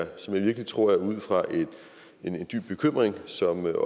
og som jeg virkelig tror er ud fra en dyb bekymring som herre